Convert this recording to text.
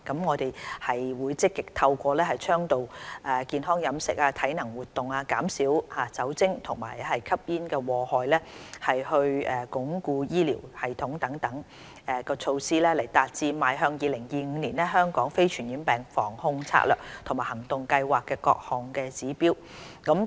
我們將積極透過倡導健康飲食、體能活動、減少酒精和吸煙禍害，以及鞏固醫療系統等措施來達致《邁向 2025： 香港非傳染病防控策略及行動計劃》的各項指標。